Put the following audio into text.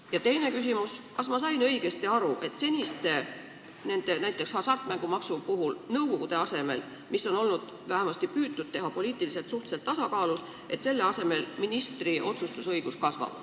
Ja teine küsimus on, kas ma sain õigesti aru, et seniste nõukogude asemel , mis on vähemasti püütud teha poliitiliselt suhteliselt tasakaalus olevatena, kasvab ministri otsustusõigus.